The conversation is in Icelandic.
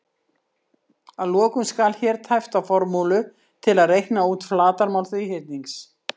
Að lokum skal hér tæpt á formúlu til að reikna út flatarmál þríhyrnings: